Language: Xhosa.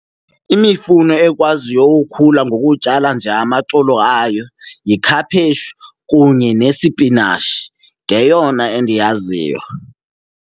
Imifuno ekwaziyo ukhula ngokutyala nje amaxolo ayo yikhaphetshu kunye nesipinatshi, yeyona endiyaziyo.